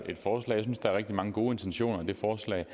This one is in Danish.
der rigtig mange gode intentioner i det forslag